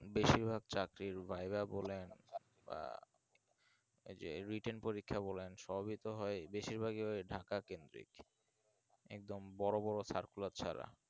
বেশির ভাগ চাকরির viva বলেন বা যে written পরীক্ষা বলেন সবইতো হয় বেশির ভাগই হয় ঢাকা কেন্দ্রীক একদম বড়ো বড়ো circular ছাড়া